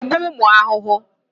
Ị na-egbu ụmụ ahụhụ?